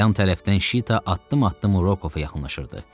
Yan tərəfdən Şita addım-addım Rokova yaxınlaşırdı.